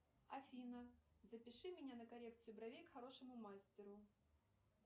афина запиши меня на коррекцию бровей к хорошему мастеру